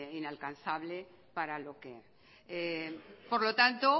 inalcanzable para lo que por lo tanto